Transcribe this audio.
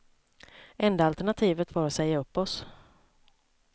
Enda alternativet var att säga upp oss.